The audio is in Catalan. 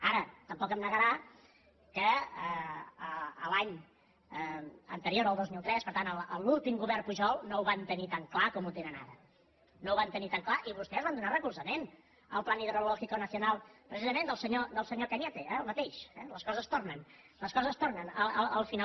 ara tampoc em negarà que l’any anterior al dos mil tres per tant en l’últim govern pujol no ho van tenir tan clar com ho tenen ara no ho van tenir tan clar i vostès van donar recolzament al plan hidrológico nacional precisament del senyor cañete eh el mateix les coses tornen les coses tornen al final